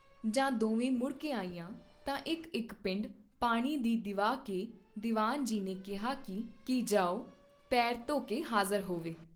ਜਾਂ ਦੋਵੇਂ ਮੁੜ ਕੇ ਆਈਆਂ ਤਾਂ ਇਕ ਇਕ ਪਿੰਡ ਪਾਣੀ ਦੀ ਦਿਵਾ ਕੇ ਦੀਵਾਨ ਜੀ ਨੇ ਕਿਹਾ ਕੀ ਜਾਓ ਪੇਰ ਧੋਕੇ ਹਾਜ਼ਰ ਹੋਵੇ।